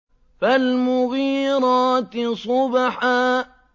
فَالْمُغِيرَاتِ صُبْحًا